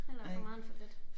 Hellere for meget end for lidt